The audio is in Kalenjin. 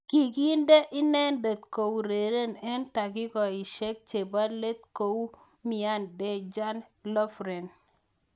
Kikinde inendet koureren eng takikaishek chebo let kingoumian Dejan Lovren.